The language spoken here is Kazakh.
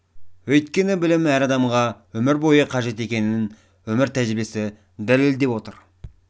өйткені білім әр адамға өмір бойы қажет екенін өмір тәжірибесі дәлелдеп отыр